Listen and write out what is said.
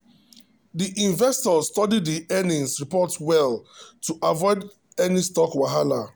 the investor study the earnings report well to avoid any stock wahala.